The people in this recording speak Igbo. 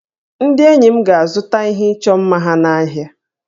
Ndị enyi m ga-azụta ihe ịchọ mma ha n'ahịa